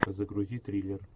загрузи триллер